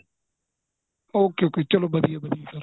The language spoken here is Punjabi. okay okay ਚਲੋਂ ਵਧੀਆ ਵਧੀਆ ਏ sir